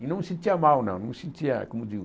E não me sentia mal, não. Me senttia como digo